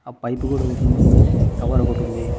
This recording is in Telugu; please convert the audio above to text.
ఆ పైపు గూడా ఒకటి ఉంది కవర్ ఒకటి ఉంది.